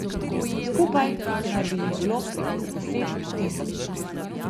Skupaj naj bi jih bilo prek deset tisoč.